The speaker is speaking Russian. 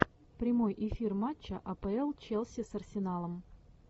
прямой эфир матча апл челси с арсеналом